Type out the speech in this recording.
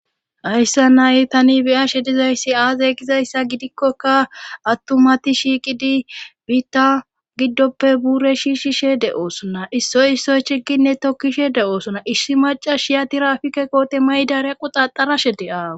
ayssa nay tani beyashe dizayssi aaze gizayssa gidikkoka attumati shiiqidi biitta giddoppe buure shiishishe de7oosonna issoy issoy chiginne tokkishe de7oosona issi macas shiyatirafike koote maydarea quxaxarashe de7aw